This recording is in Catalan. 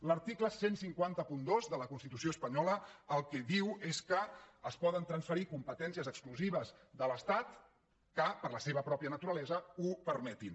l’article quinze zero dos de la constitució espanyola el que diu és que es poden transferir competències exclusives de l’estat que per la seva pròpia naturalesa ho permetin